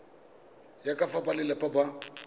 ya ka fa balelapa ba